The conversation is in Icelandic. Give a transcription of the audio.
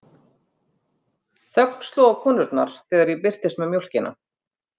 Þögn sló á konurnar þegar ég birtist með mjólkina.